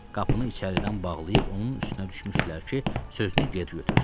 Qapını içəridən bağlayıb onun üstünə düşmüşdülər ki, sözünü geri götürsün.